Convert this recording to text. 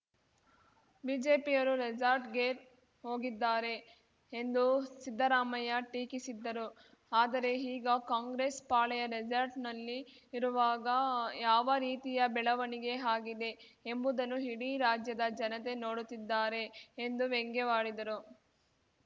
ಬಿಜೆಪಿಯವರು ರೆಸಾರ್ಟ್‌ಗೆ ಹೋಗಿದ್ದಾರೆ ಎಂದು ಸಿದ್ದರಾಮಯ್ಯ ಟೀಕಿಸಿದ್ದರು ಆದರೆ ಈಗ ಕಾಂಗ್ರೆಸ್‌ ಪಾಳೆಯ ರೆಸಾರ್ಟ್‌ನಲ್ಲಿಇರುವಾಗ ಯಾವ ರೀತಿಯ ಬೆಳವಣಿಗೆ ಆಗಿದೆ ಎಂಬುದನ್ನು ಇಡಿ ರಾಜ್ಯದ ಜನತೆ ನೋಡುತ್ತಿದ್ದಾರೆ ಎಂದು ವ್ಯಂಗ್ಯವಾಡಿದರು